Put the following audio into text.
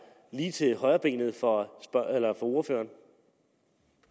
lige til højrebenet for ordføreren